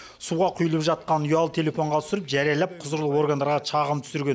суға құйылып жатқанын ұялы телефонға түсіріп жариялап құзырлы органдарға шағым түсірген